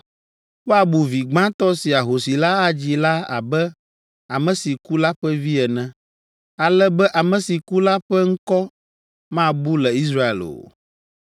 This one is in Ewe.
Woabu vi gbãtɔ si ahosi la adzi la abe ame si ku la ƒe vi ene, ale be ame si ku la ƒe ŋkɔ mabu le Israel o.